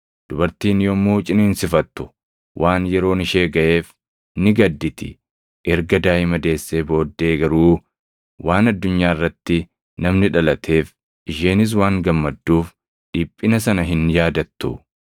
Dubartiin yommuu ciniinsifattu, waan yeroon ishee gaʼeef ni gadditi; erga daaʼima deessee booddee garuu waan addunyaa irratti namni dhalateef, isheenis waan gammadduuf dhiphina sana hin yaadattu.